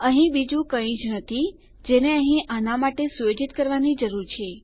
અહીં બીજું કઈ જ નથી જેને અહીં આનાં માટે સુયોજિત કરવાની જરૂર છે